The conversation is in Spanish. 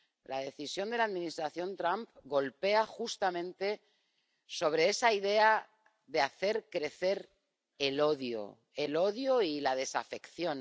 La decisión de la Administración Trump reincide justamente en esa idea de hacer crecer el odio —el odio y la desafección—.